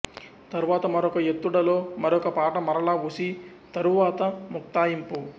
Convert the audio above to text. తరువాత మరొక ఎత్తుడలో మరొక పాట మరలా ఉసి తరువాత ముక్తాయింపు